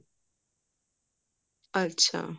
ਅੱਛਾ